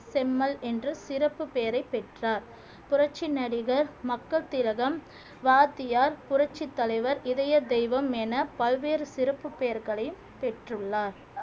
செம்மல் என்று சிறப்புப் பெயரைப் பெற்றார் புரட்சி நடிகர் மக்கள் திலகம் வாத்தியார் புரட்சித் தலைவர் இதய தெய்வம் என பல்வேறு சிறப்புப் பெயர்களையும் பெற்றுள்ளார்